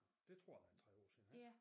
Det tror jeg er en 3 år siden ik